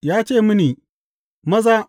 Ya ce mini, Maza!